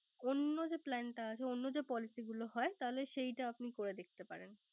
অন্য যে Plan টা আছে। অন্য যে Policy গুলো হয় তাহলে সেইটা আপনি করে দেখতে পারেন।